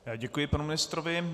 Děkuji panu ministrovi.